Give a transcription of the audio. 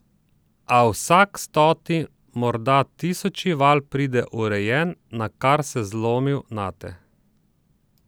A vsak stoti, morda tisoči val pride urejen, nakar se zlomil nate.